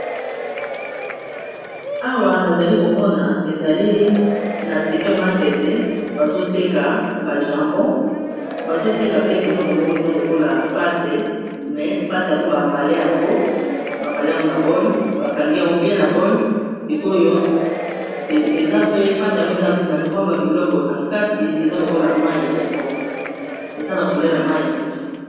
Awa nazali komona ezali na super maket bazoteka bajambo bazoteka pe biloko moko eza lokola pate me pate yango bambale yango bambale yango na bol bakangi yango bien na bol sikoyo eza pe pate yango ezana ow e ba biloko na kati eza lokola mai ya pondo eza na couler na mai ya pondu